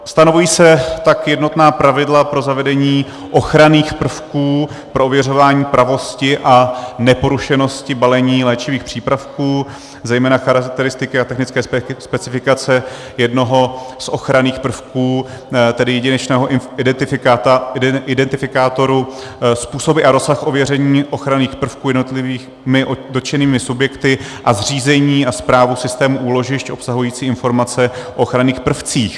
Stanovují se tak jednotná pravidla pro zavedení ochranných prvků pro ověřování pravosti a neporušenosti balení léčivých přípravků, zejména charakteristiky a technické specifikace jednoho z ochranných prvků, tedy jedinečného identifikátoru, způsoby a rozsah ověření ochranných prvků jednotlivými dotčenými subjekty a zřízení a správu systému úložišť obsahující informace o ochranných prvcích.